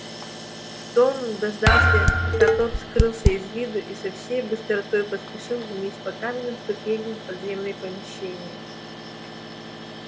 том дождался пока тот скрылся из виду и со всей быстротой поспешил вниз по каменным ступеням в подземные помещения